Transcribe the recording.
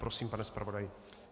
Prosím, pane zpravodaji.